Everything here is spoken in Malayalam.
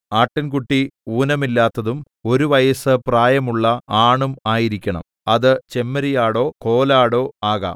ആട്ടിൻകുട്ടി ഊനമില്ലാത്തതും ഒരു വയസ്സ് പ്രായമുള്ള ആണും ആയിരിക്കണം അത് ചെമ്മരിയാടോ കോലാടോ ആകാം